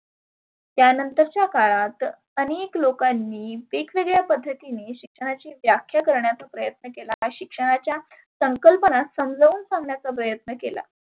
त्यानंतरच्या काळात आनेक लोकांनी वेगवेगळ्या पद्धतीने शिक्षणाची व्याख्या करण्याचा प्रयत्न केला. शिक्षणाच्या संकल्पनात समजाऊन सांगण्याचा प्रयत्न केला.